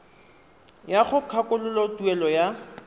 ya go kgakololo tuelo ya